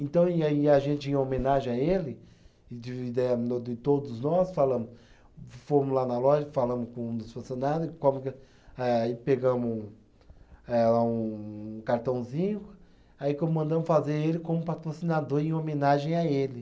Então, e a, e a gente, em homenagem a ele, de todos nós falamos, fomos lá na loja, falamos com um dos funcionário, aí pegamos um, eh um cartãozinho aí e mandamos fazer ele como patrocinador, em homenagem a ele.